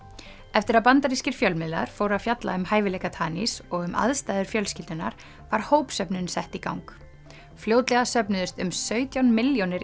eftir að bandarískir fjölmiðlar fóru að fjalla um hæfileika og um aðstæður fjölskyldunnar var sett í gang fljótlega söfnuðust um sautján milljónir